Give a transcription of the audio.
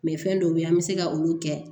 fɛn dɔw bɛ an bɛ se ka olu kɛ